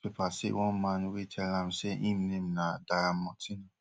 e tell di newspaper say one man wey tell am say im name na diamortino